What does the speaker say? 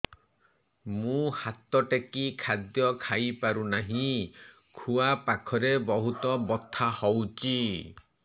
ମୁ ହାତ ଟେକି ଖାଦ୍ୟ ଖାଇପାରୁନାହିଁ ଖୁଆ ପାଖରେ ବହୁତ ବଥା ହଉଚି